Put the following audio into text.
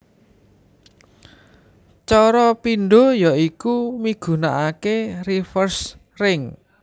Cara pindho ya iku migunakaké reverse ring